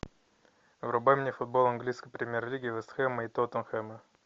врубай мне футбол английской премьер лиги вест хэма и тоттенхэма